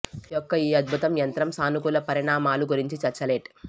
యొక్క ఈ అద్భుతం యంత్రం సానుకూల పరిణామాలు గురించి చర్చ లెట్